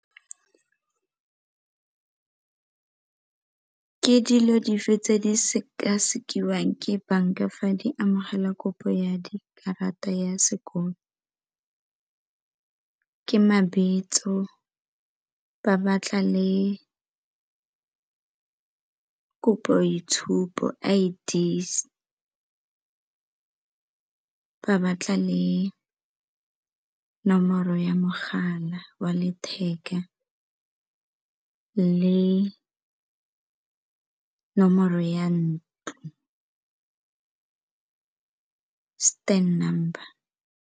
Ke dilo dife tse di sekasekiwang ke banka fa di amogela kopo ya di karata ya sekolo? Ke mabitso, ba batla le khopi ya boitshupo I_D ba batla le nomoro ya mogala wa letheka le nomoro ya ntlo stand number.